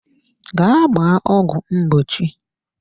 Gaa gbaa ọgwụ mgbochi.